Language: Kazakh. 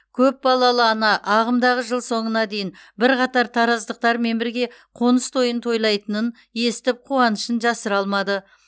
көпбалалы ана ағымдағы жыл соңына дейін бірқатар тараздықтармен бірге қоныс тойын тойлайтынын естіп қуанышын жасыра алмады